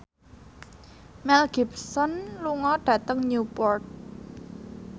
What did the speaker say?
Mel Gibson lunga dhateng Newport